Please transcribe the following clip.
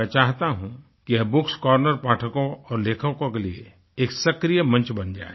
मैं चाहता हूँ कि यह bookएस कॉर्नर पाठकों और लेखकों के लिए एक सक्रिय मंच बन जाये